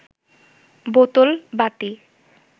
বোতল বাতি